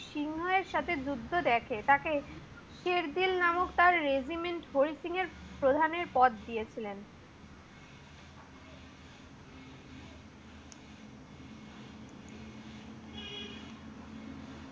সিংহ এর সাথে যুদ্ধ দেখে। তাকে সের জি নামক রেজিমেন্ট হরিত সিং এর প্রধানের পদ দিয়েছিলেন।